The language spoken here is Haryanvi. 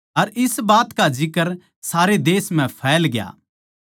अर इस बात का जिक्र सारे देश म्ह फैलग्या